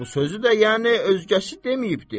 Bu sözü də yəni özgəsi deməyibdir.